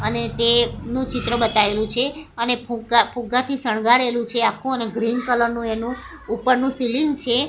અને નું ચિત્ર બતાઇલુ છે અને ફુગ્ગા ફુગ્ગાથી સણગારેલું છે આખું અને ગ્રીન કલર નું એનું ઉપરનું સીલીંગ છે.